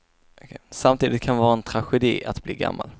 Samtidigt kan det vara en tragedi att bli gammal.